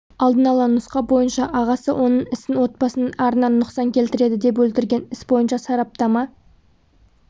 алдын ала нұсқа бойынша ағасы оның ісін отбасының арына нұқсан келтіреді деп өлтірген іс бойынша сараптама